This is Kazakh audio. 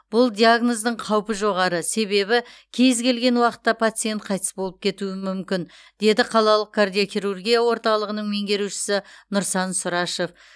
бұл диагноздың қаупі жоғары себебі кез келген уақытта пациент қайтыс болып кетуі мүмкін деді қалалық кардиохирургия орталығының меңгерушісі нұрсан сұрашев